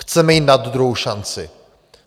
Chceme jim dát druhou šanci!